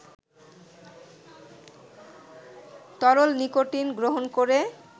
তরল নিকোটিন গ্রহণ করে